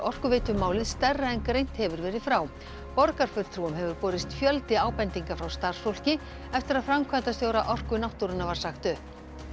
Orkuveitumálið stærra en greint hefur verið frá borgarfulltrúum hefur borist fjöldi ábendinga frá starfsfólki eftir að framkvæmdastjóra Orku náttúrunnar var sagt upp